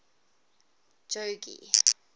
jogee